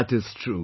That is true